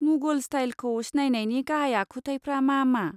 मुगल स्टाइलखौ सिनायनायनि गाहाय आखुथायफ्रा मा मा?